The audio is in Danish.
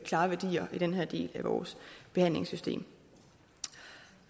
klare værdier i den her del af vores behandlingssystem